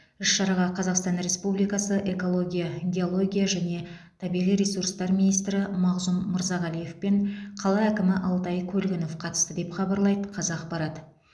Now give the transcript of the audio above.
іс шараға қазақстан республикасы экология геология және табиғи ресурстар министрі мағзұм мырзағалиев пен қала әкімі алтай көлгінов қатысты деп хабарлайды қазақпарат